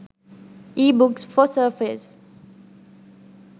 ebooks for surface